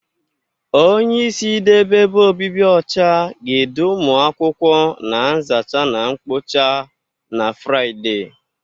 Onyeisi idebe ebe obibi ọcha ga-edu ụmụ akwụkwọ na nzacha na mkpocha na Fraịde.